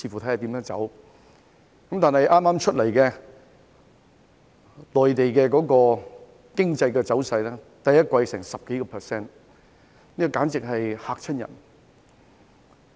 但是，據剛公布的內地經濟走勢，其第一季增長超過 10%， 簡直嚇人一跳。